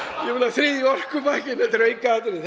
þriðji orkupakkinn þetta er aukaatriði